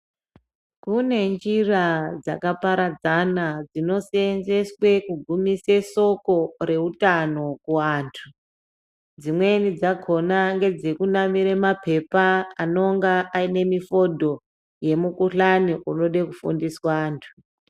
Kunenjira dzaka paradzana dzino seenzeswe kugumisa solo reutano kuantu dzimweni dzakona ngedze kunamora mapepa anenge sine mifodho yemukuhlani inoda kufundiswa antu.